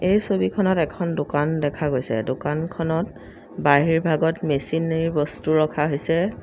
এই ছবিখনত এখন দোকান দেখা গৈছে দোকানখনত বাহিৰভাগত মেচিনেৰী বস্তু ৰখা হৈছে।